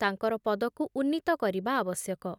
ତାଙ୍କର ପଦକୁ ଉନ୍ନୀତ କରିବା ଆବଶ୍ୟକ ।